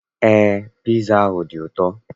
Eé, piza ahụ dị ụtọ.